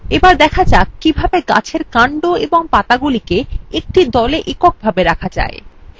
চলুন শেখা যাক কিভাবে গাছের কান্ড এবং পাতাগুলিকে একটি দলে একক ভাবে রাখা যায়